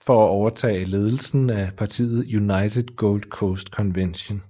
for at overtage ledelsen af partiet United Gold Coast Convention